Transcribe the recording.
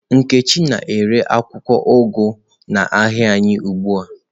Nkechi na-ere akwụkwọ ugu n'ahịa anyị ugbu a.